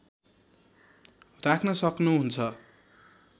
राख्न सक्नु हुन्छ